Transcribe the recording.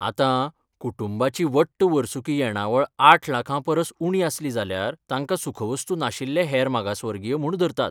आतां, कुटूंबाची वट्ट वर्सुकी येणावळ आठ लाखां परस उणी आसली जाल्यार तांकां सुखवस्तू नाशिल्ले हेर मागासवर्गीय म्हूण धरतात.